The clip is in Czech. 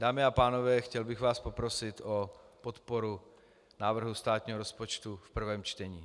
Dámy a pánové, chtěl bych vás poprosit o podporu návrhu státního rozpočtu v prvém čtení.